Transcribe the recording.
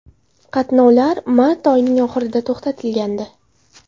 Qatnovlar mart oyining oxirida to‘xtatilgandi.